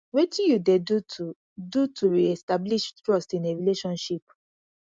wetin you dey do to do to reestablish trust in a relationship